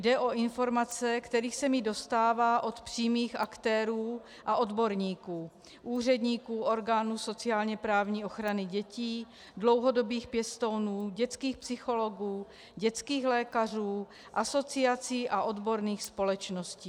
Jde o informace, kterých se mi dostává od přímých aktérů a odborníků, úředníků, orgánů sociálně-právních ochrany dětí, dlouhodobých pěstounů, dětských psychologů, dětských lékařů, asociací a odborných společností.